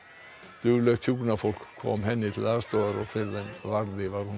duglegt hjúkrunarfólk kom henni til aðstoðar og fyrr en varði var hún